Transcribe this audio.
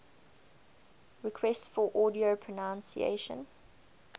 requests for audio pronunciation